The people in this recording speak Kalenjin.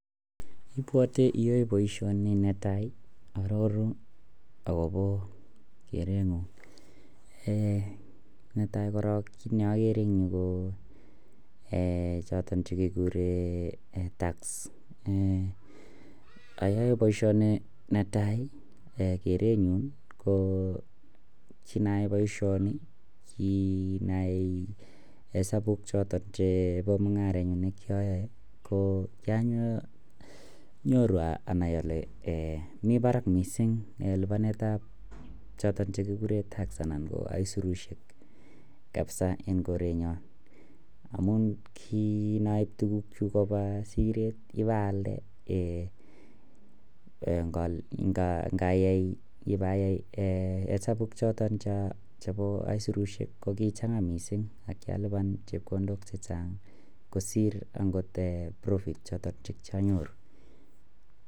Ibwote iyoe boisioni netai ii arorun akobo kerengung, um netai korok kiit ne akere eng yu ko um choton che kikure tax, um ayae boisioni netai ii, kerenyun ii ko kiin ayae boisioni kiin ayai hesabuk chotok chebo mungarenyu ne kiyooe, ko kianyoru anai ale um mi barak mising um lipanetab choton che kikure tax anan ko aisurusiek kabisa en korenyon, amun ki noip tukukchuk koba siret ip alde, um ngayai ibayai hesabuk chotok chebo aisurusiek ko kichanga mising ak kialipan chepkondok chechang kosir profit chotok che kianyoru.